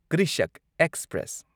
Krishak express